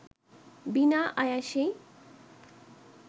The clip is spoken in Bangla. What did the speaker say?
বিনা আয়াসেই